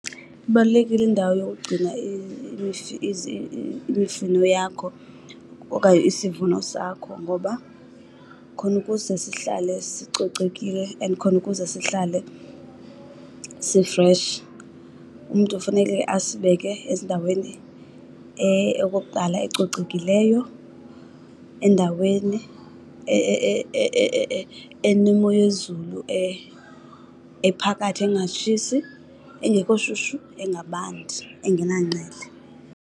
Ibalulekile indawo yokugcina imifino yakho okanye isivuno sakho. Ngoba khona ukuze sihlale sicocekile and khona ukuze sihlale si-fresh umntu funeke asibeke ezindaweni okokuqala ecocekileyo, endaweni enemoyezulu ephakathi engatshisi, engekho shushu, engabandi, engenangqele.